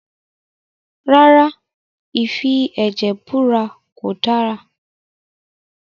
Rárá, ìfi ẹ̀jẹ̀ búra kò dára